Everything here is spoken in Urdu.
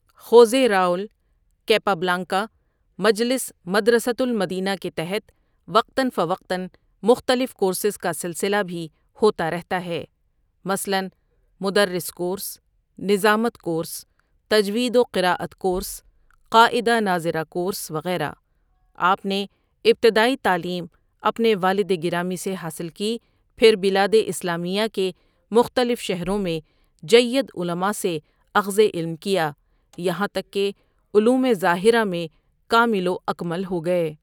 خوزے راؤل كيپابلانكا مجلس مدرسۃ المدینہ کے تحت وقتاً فوقتاً مختلف کورسز کا سلسلہ بھی ہوتا رہتا ہےمثلاً مدرس کورس، نظامت کورس، تجوید و قراءت کورس، قاعدہ ناظرہ کورس وغیرہ آپ نےابتدائی تعلیم اپنےوالدگرامی سےحاصل کی پھربلاداسلامیہ کےمختلف شہروں میں جیدعلماء سےاخذعلم کیا یہاں تک کہ علوم ظاہرہ میں کامل واکمل ہو گئے ۔